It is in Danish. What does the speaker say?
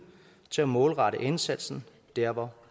til at målrette indsatsen der hvor